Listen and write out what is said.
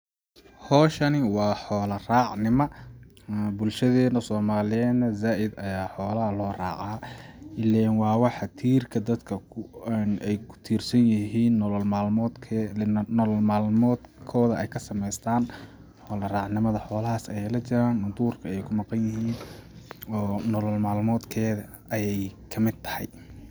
Hawshani waa xoola raac nima ,bulshadeena somaliyeed na zaaid ayaa xoolaha loo racaa ,ileen waa waxa tiirka ay ku tiir san yihiin ,nolo maalmood kooda ,nolol maalmood kooda ay ka samestaan ,xoola raac nimada ,xoola haas ayeey la jiraan ,duurka ayeey ku maqan yihiin oo nolol maalmood kooda ayeey ka mid tahay .